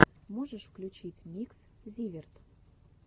можешь включить микс зиверт